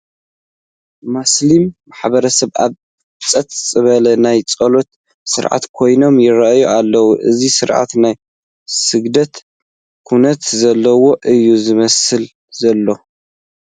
ማስሊም ማሕበረሰብ ኣብ ፀጥ ዝበለ ናይ ፀሎት ስርዓት ኮይኖም ይርአዩ ኣለዉ፡፡ እዚ ስርዓት ናይ ስግደት ኩነት ዘለዎ እዩ ዝመስል ዘሎ፡፡